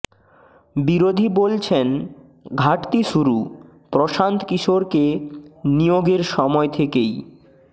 বিরোধী বলছেন ঘাটতি শুরু প্রশান্ত কিশোরকে নিয়োগের সময় থেকেই